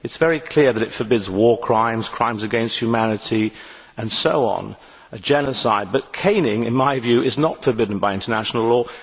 It is very clear that it forbids war crimes, crimes against humanity, genocide and so on, but caning, in my view, is not forbidden by international law.